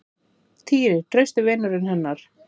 Týri, trausti vinurinn hennar.